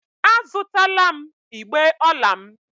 A zụtala m igbé ọla m.